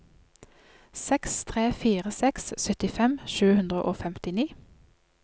seks tre fire seks syttifem sju hundre og femtini